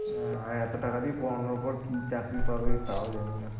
হ্যাঁ এত টাকা দিয়ে পড়ানোর পর কি চাকরি পাবে তাও জানিনা